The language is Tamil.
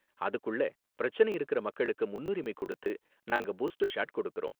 அதுக்குள்ள பிரச்சனை இருக்குற மக்களுக்கு முன்னுரிமை கொடுத்து நாங்க பூஸ்டர் ஷாட் கொடுக்கறோம்.